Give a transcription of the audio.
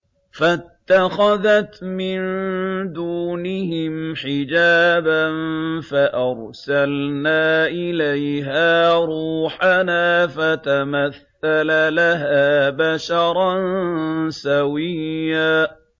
فَاتَّخَذَتْ مِن دُونِهِمْ حِجَابًا فَأَرْسَلْنَا إِلَيْهَا رُوحَنَا فَتَمَثَّلَ لَهَا بَشَرًا سَوِيًّا